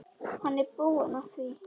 Hann er búinn að því.